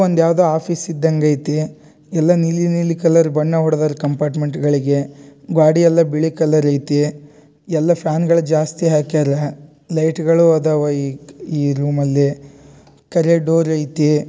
ಇದು ಯಾವ್ದೋ ಒಂದು ಯಾವುದೋ ಆಫೀಸ್ ಇದ್ದಂಗ್ ಐತಿ ಎಲ್ಲ ನೀಲಿ ನೀಲಿ ಕಲರ್ ಬಣ್ಣ ಹೊಡೆದರೆ ಕಂಪಾರ್ಟ್ಮೆಂಟ್ಗಳಿಗೆ ಗಾಡಿ ಎಲ್ಲಾ ಬಿಳಿ ಕಲರ್ ಐತಿ ಎಲ್ಲ ಫ್ಯಾನ್ಗಳು ಜಾಸ್ತಿ ಹಾಕಿಯಾರೆ ಲೈಟ್ಗಳು ಅದಾವ ಈ ರೂಮಲ್ಲಿ ಕರೆ ಡೋರ್ ಐತಿ.